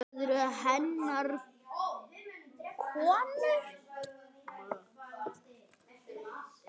Það eru hennar konur.